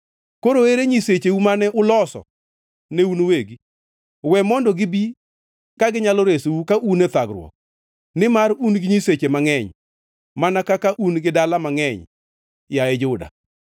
Kare ere nyisecheu mane uloso ne un uwegi? We mondo gibi ka ginyalo resou ka un e thagruok! Nimar un gi nyiseche mangʼeny, mana kaka un gi dala mangʼeny, yaye Juda.”